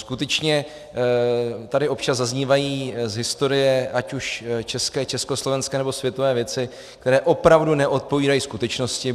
Skutečně tady občas zaznívají z historie ať už české, československé nebo světové věci, které opravdu neodpovídají skutečnosti.